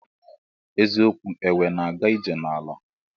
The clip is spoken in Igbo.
Eziokwu enwe na aga ije na ala.